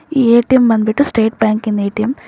ಈ ಎ_ಟಿ_ಎಂ ಬಂದು ಬಿಟ್ಟು ಸ್ಟೇಟ್ ಬ್ಯಾಂಕಿನ ಎ_ಟಿ_ಎಂ .